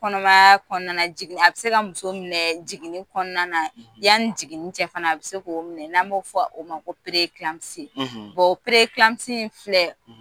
Kɔnɔmaya kɔnɔna na, a kun bi se ka muso minɛ jiginni kɔnɔna na . Yani jiginni cɛ fana a bi se k'o minɛ n'an b'o fɔ o ma ko o in filɛ